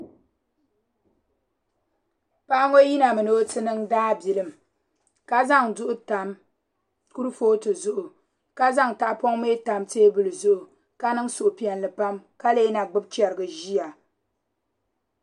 Paɣa ŋo yina mi ni o ti niŋ daabilim ka zaŋ silb tam kurifooti zuɣu ka zaŋ tahapoŋ mii tam teebuli zuɣu ka niŋ suhupiɛlli pam ka lee na gbubi chɛrigi ʒiya